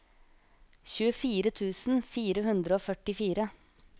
tjuefire tusen fire hundre og førtifire